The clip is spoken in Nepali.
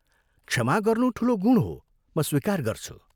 क्षमा गर्नु ठूलो गुण हो म स्वीकार गर्छु।